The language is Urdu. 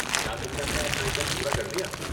کیا تم نے اپنا اسائنمنٹ پورا کر لیا۔